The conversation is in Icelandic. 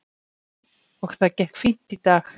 Og það gekk fínt í dag.